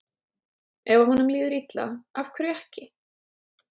Ef að honum líður vel, af hverju ekki?